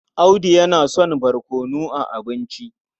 Audu yana son barkono a abinci.